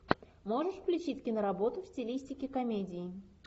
можешь включить киноработу в стилистике комедии